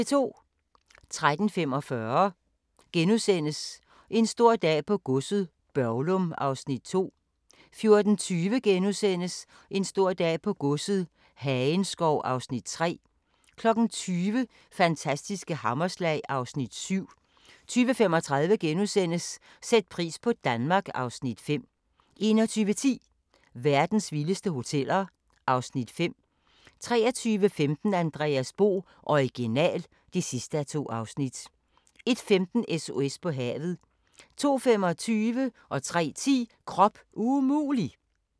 13:45: En stor dag på godset - Børglum (Afs. 2)* 14:20: En stor dag på godset - Hagenskov (Afs. 3)* 20:00: Fantastiske hammerslag (Afs. 7) 20:35: Sæt pris på Danmark (Afs. 5)* 21:10: Verdens vildeste hoteller (Afs. 5) 23:15: Andreas Bo - Original (2:2) 01:15: SOS på havet 02:25: Krop umulig! 03:10: Krop umulig!